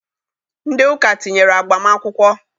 Ndị ụka tinyere agbam akwụkwọ